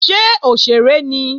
Ṣé òṣèré ni?